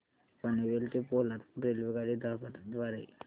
पनवेल ते पोलादपूर रेल्वेगाडी द्वारे